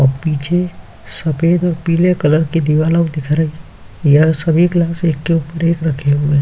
और पीछे सफ़ेद और पीले कलर की दीवालऊ दिख रही। यह सभी गिलास एक के ऊपर एक रखे हुएं --